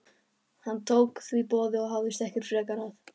Hann tók því boði og hafðist ekki frekar að.